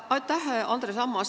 Aitäh, Andres Ammas!